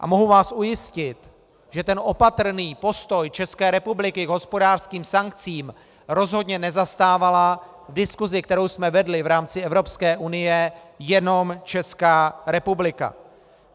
A mohu vás ujistit, že ten opatrný postoj České republiky k hospodářským sankcím rozhodně nezastávala v diskusi, kterou jsme vedli v rámci Evropské unie, jenom Česká republika.